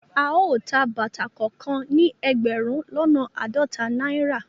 Ao tá bàtà kàn kàn ni ẹgbẹrun lọnà àádọta náírà